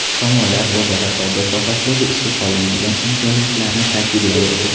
Tomonlar o‘zaro savdo sohasidagi ishga solinmagan imkoniyatlarni ta’kidlab o‘tdi.